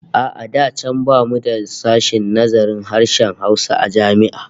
A'a da can bamu da sashen nazarin harshen Hausa a jami'a